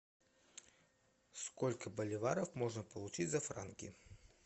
сколько боливаров можно получить за франки